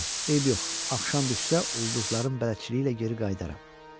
Eybi yox, axşam düşsə ulduzların bələdçiliyi ilə geri qayıdaram.